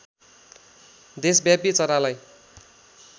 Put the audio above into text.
देशव्यापी चरालाई